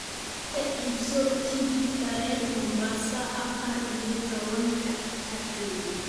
ka iibso tigidh tareen Mombasa afar iyo tawan-ka Abriil